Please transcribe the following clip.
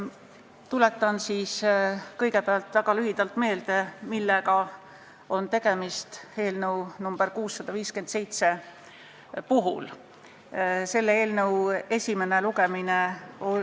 Tuletan kõigepealt väga lühidalt meelde, millega on eelnõu nr 657 puhul tegemist.